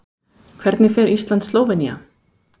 Hvernig fer Ísland- Slóvenía?